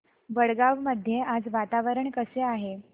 वडगाव मध्ये आज वातावरण कसे आहे